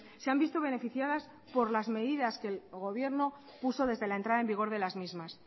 se han visto beneficiadas por las medidas que el gobierno puso desde la entrada en vigor de las mismas